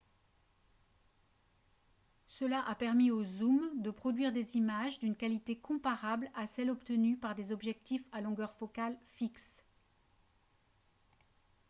cela a permis aux zooms de produire des images d'une qualité comparable à celle obtenue par des objectifs à longueur focale fixe